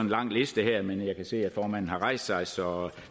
lang liste her men jeg kan se at formanden har rejst sig så